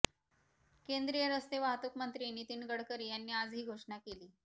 केंद्रीय रस्ते वाहतूक मंत्री नितीन गडकरी यांनी आज ही घोषणा केली